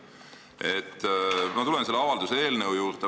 Ma tulen nüüd selle avalduse eelnõu juurde.